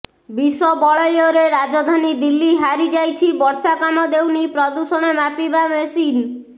ବିଷ ବଳୟରେ ରାଜଧାନୀ ଦିଲ୍ଲୀ ହାରି ଯାଇଛି ବର୍ଷା କାମ ଦେଉନି ପ୍ରଦୂଷଣ ମାପିବା ମେସିନ୍